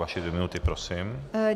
Vaše dvě minuty prosím.